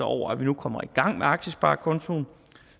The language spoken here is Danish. over at vi nu kommer i gang med aktiesparekontoen